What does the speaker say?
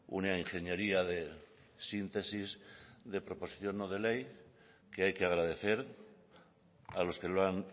una ingeniería de síntesis de proposición no de ley que hay que agradecer a los que lo han